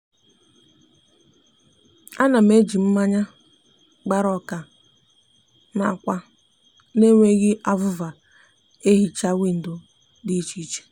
a na m eji mmanya gbara oka na akwa n'enweghi avuva ehicha windo di iche iche